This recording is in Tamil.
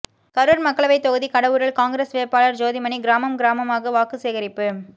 கரூர் மக்களவை தொகுதி கடவூரில் காங்கிரஸ் வேட்பாளர் ஜோதிமணி கிராமம் கிராமமாக வாக்கு சேகரிப்பு